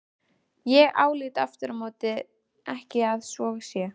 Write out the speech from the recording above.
Ég álít afturámóti ekki að svo sé.